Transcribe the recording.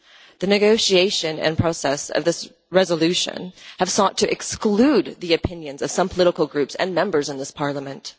The negotiation and process of this resolution have sought to exclude the opinions of some political groups and Members in this Parliament.